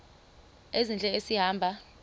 ezintle esi hamba